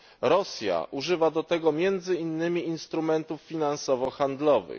Rosja używa do tego między innymi instrumentów finansowo handlowych.